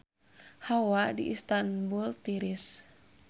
Hawa di Istanbul tiris